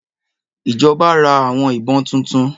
Ìjọba ra àwọn ìbọn tuntun